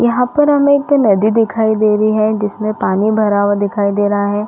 यहाँ पर हमें एक नदी दिखाई दे रही है जिसमे पानी भरा हुआ दिखाई दे रहा है।